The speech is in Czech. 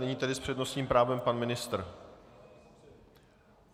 Nyní tedy s přednostním právem pan ministr.